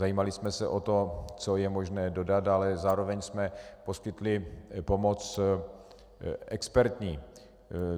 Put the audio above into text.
Zajímali jsme se o to, co je možné dodat, ale zároveň jsme poskytli pomoc expertní.